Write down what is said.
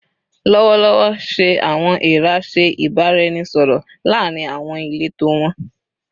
Lọwọlọwọ, ṣe "awọn eera" ṣe ibaraẹnisọrọ laarin awọn ileto wọn?